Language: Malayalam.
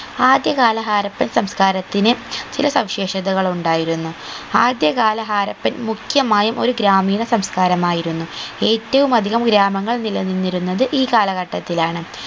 ആദ്യ കാല ഹാരപ്പൻ സംസ്ക്കാരത്തിന് ചില സവിശേഷതകൾ ഉണ്ടായിരുന്നു ആദ്യകാല ഹാരപ്പൻ മുഖ്യമായും ഒരു ഗ്രാമീണ സംസ്ക്കാരം ആയിരുന്നു ഏറ്റവും അധികം ഗ്രാമങ്ങൾ നിലനിന്നിരുന്നത് ഈ കാലഘട്ടത്തിലാണ്